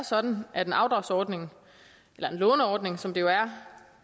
sådan at en afdragsordning eller en låneordning som det jo er